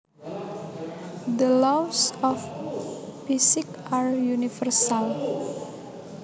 The laws of physics are universal